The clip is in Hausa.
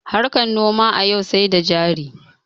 Harkan noma a yau sai da jari